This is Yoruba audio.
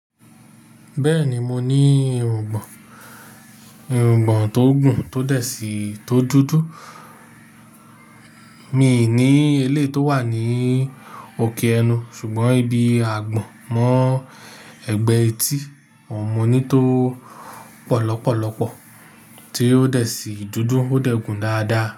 Bẹ́ẹ̀ni mo ní irùngbọ̀n, irùngbọ̀n tó gùn tó dẹ̀ sí, tó dúdú. Mi i ní eleyi tó wà ní òkè ẹnu, sùgbọ́n ibi àgbọ̀n mọ́ ẹgbẹ́ etí, ohun mo ní tó pọ̀ lọ́pọ̀lọ́pọ̀, tí ó dẹ̀ sí dúdú, ó dẹ̀ gùn dáadáa.